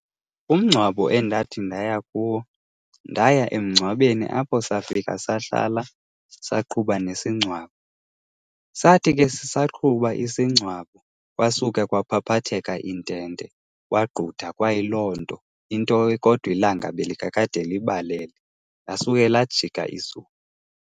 Umngcwabo endathi ndaya kuwo, ndaya emngcwabeni apho safika sahlala, saqhuba nesingcwabo. Sathi ke sisaqhuba isingcwabo, kwasuka kwaphaphatheka intente, kwagqutha kwayiloo nto kodwa ilanga belikakade libalele, lasuke lajika izulu.